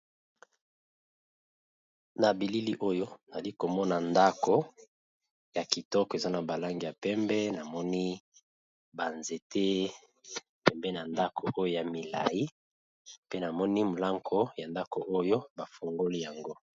Na bilili oyo nazo komona ndako ya kitoko eza na balangi ya pembe namoni nzete pembeni ya ndako wana ya molayi pe namoni mulango bafungoli yango.